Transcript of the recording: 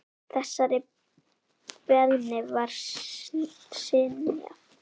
Þessari beiðni var synjað.